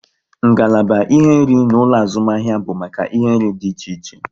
Ngalaba ihe nri na ulo azumahia bu make ihe nri di iche iche